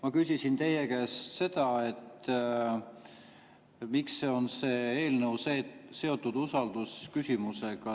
Ma küsisin teie käest seda, miks see eelnõu on seotud usaldusküsimusega.